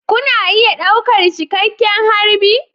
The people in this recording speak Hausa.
Kuna iya ɗaukar cikakken harbi